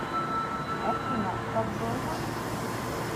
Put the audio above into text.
афина так долго